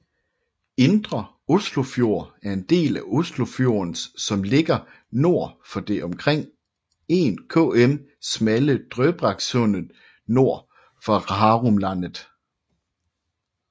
Indre Oslofjord er den del af Oslofjorden som ligger nord for det omkring 1 km smalle Drøbaksundet nord for Hurumlandet